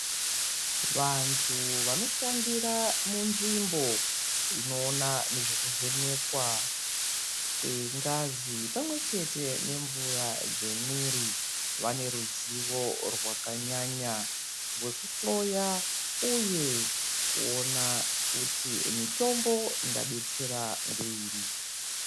Vantu vanoshandira munzvimbo inoona nezvokuvhenekwa kwengazi pamwechete nemvura dzemwiiri vane ruzivo rwakanyanya rwekuhloya uye kuona kuti mitombo ingadetsera ngeiri.